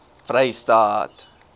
vrystaat